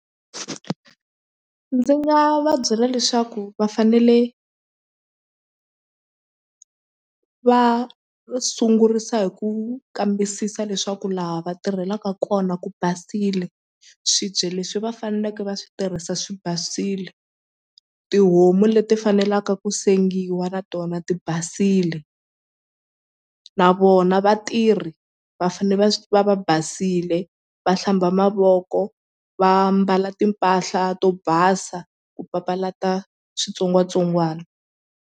Ndzi nga va byela leswaku va fanele va sungurisa hi ku kambisisa leswaku laha va tirhelaka kona ku basile swibye leswi va faneleke va swi tirhisa swi basile tihomu leti fanelaka ku sengiwa na tona ti basile na vona vatirhi va fanele va va va basile va hlamba mavoko va mbala timpahla to basa ku papalata switsongwatsongwana.